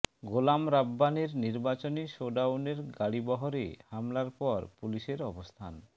গোলাম রাব্বানীর নির্বাচনী শোডাউনের গাড়িবহরে হামলার পর পুলিশের অবস্থান